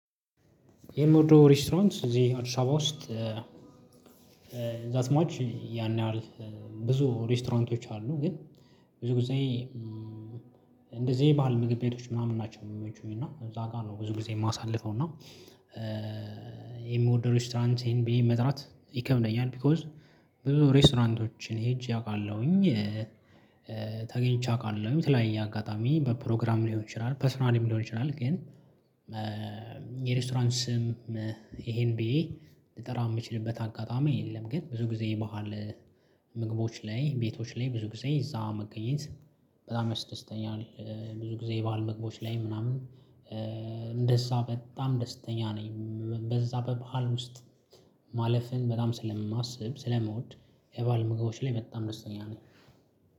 የምወደው ሬስቶራንት እዚህ አዲስ አበባ ውስጥ ዛት ማች ያን ያህል ብዙ ሬስቶራንቶች አሉ። ግን ብዙ ጊዜ እንደዚህ ባህል ምግብ ቤቶች ምናምን ናቸው ሚመቹኝ እና እዛ ጋር ነው ብዙ ጊዜ ማሳልፈው። እና የምወድ ሬስቶራንት ይሄን ብዬ መጥራት ይከምደኛል ቢኮዝ ብዙ ሬስቶራንቶችን ሄጄ አውቃለሁኝ። ተገኝቼ አውቃለሁኝ የተለያየ አጋጣሚ በፕሮግራም ሊሆን ይችላል ፐርሰናሊም ሊሆን ይችላል። ግን የሬስቶራንት ስም ይሄን ብዬ ልጠራ የምችልበት አጋጣሚ የለም። ግን ብዙ ጊዜ በዓል ምግቦች ላይ ቤቶች ላይ ብዙ ጊዜ እዛ መገኘት በጣም ያስደስተኛል። ብዙ ጊዜ ባህል ምግቦች ላይ ምናምን እንደዛ በጣም ደስተኛ ነኝ። በዛ በባህል ውስጥ ማለፍን በጣም ስለማስብ ስለምወድ የባህል ምግቦች ላይ በጣም ደስተኛ ነኝ